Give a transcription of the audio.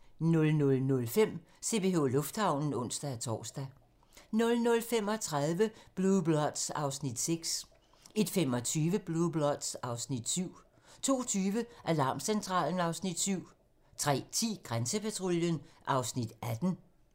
00:05: CPH Lufthavnen (ons-tor) 00:35: Blue Bloods (Afs. 6) 01:25: Blue Bloods (Afs. 7) 02:20: Alarmcentralen (Afs. 7) 03:10: Grænsepatruljen (Afs. 18)